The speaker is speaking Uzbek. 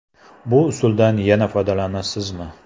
Bu usuldan yana foydalanasizmi?